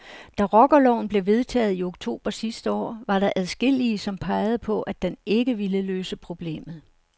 Da rockerloven blev vedtaget i oktober sidste år, var der adskillige, som pegede på, at den ikke ville løse problemet.